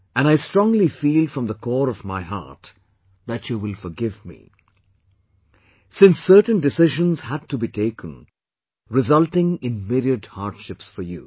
And I strongly feel from the core of my heart that you will forgive me since certain decisions had to be taken, resulting in myriad hardships for you